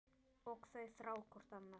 Og þau þrá hvort annað.